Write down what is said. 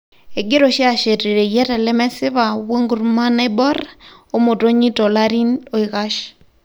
Egira oshi ashet reyiata lemesipa wonkurma naibor omotonyi tolarin oikash.